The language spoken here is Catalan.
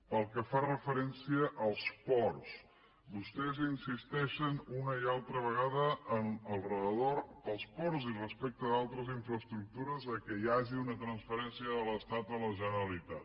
pel que fa referència als ports vostès insisteixen una i altra vegada entorn dels ports i respecte d’altres infraestructures que hi hagi una transferència de l’estat a la generalitat